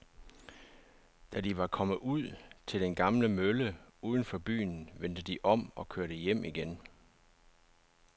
Da de var kommet ud til den gamle mølle uden for byen, vendte de om og kørte hjem igen.